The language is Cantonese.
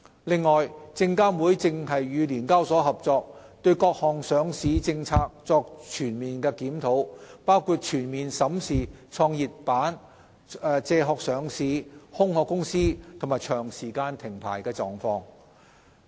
另外，證監會正與聯交所合作，對各項上市政策作全盤檢討，包括全面審視創業板、借殼上市、"空殼"公司及長時間停牌的情況。